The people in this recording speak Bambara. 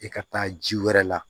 I ka taa ji wɛrɛ la